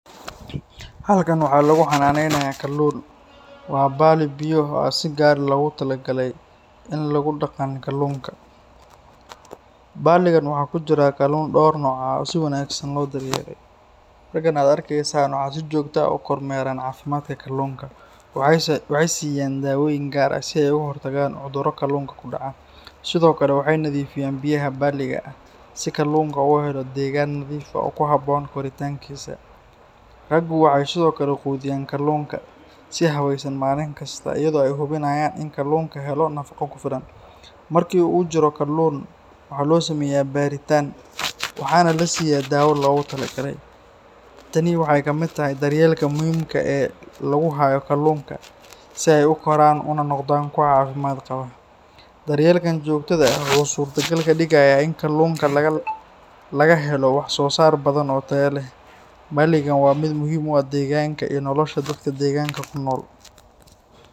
Halkan waxaa lagu xanaaneynayaa kalluun. Waa balli biyo ah oo si gaar ah loogu talagalay in lagu dhaqan kalluunka. Balligan waxaa ku jira kalluun dhowr nooc ah oo si wanaagsan loo daryeelay. Raggan aad arkaysaa waxay si joogto ah u kormeeraan caafimaadka kalluunka. Waxay siiyaan daawooyin gaar ah si ay uga hortagaan cudurro kalluunka ku dhaca. Sidoo kale, waxay nadiifiyaan biyaha balliga si kalluunka u helo deegaan nadiif ah oo ku habboon koritaankiisa. Raggu waxay sidoo kale quudiyaan kalluunka si habeysan maalin kasta, iyadoo ay hubinayaan in kalluunka helo nafaqo ku filan. Markii uu jirro kalluun, waxaa loo sameeyaa baaritaan waxaana la siiyaa daawo loogu talagalay. Tani waxay ka mid tahay daryeelka muhiimka ah ee lagu hayo kalluunka si ay u koraan una noqdaan kuwo caafimaad qaba. Daryeelkan joogtada ah wuxuu suurtagal ka dhigayaa in kalluunka laga helo wax soo saar badan oo tayo leh. Balligan waa mid muhiim u ah deegaanka iyo nolosha dadka deegaanka ku nool.